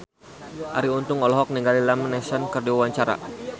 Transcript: Arie Untung olohok ningali Liam Neeson keur diwawancara